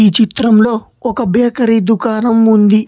చిత్రంలో ఒక బేకరీ దుకాణం ఉంది.